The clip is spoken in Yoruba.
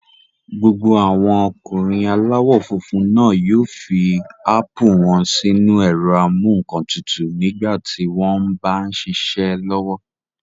Gbogbo àwọn ọkùnrin aláwọ̀ funfun náà yóò fi ápù wọ́n sínu ẹ̀rọ-amúǹkantutù nígbà tí wọ́n m bá ṣiṣẹ́ lọ́wọ́